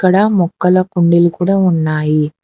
ఇక్కడ మొక్కల కుండీలు కూడా ఉన్నాయి.